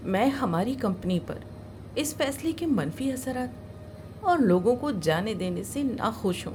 میں ہماری کمپنی پر اس فیصلے کے منفی اثرات اور لوگوں کو جانے دینے سے ناخوش ہوں۔